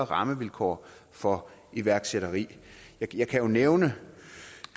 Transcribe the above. rammevilkår for iværksætteri jeg kan jo nævne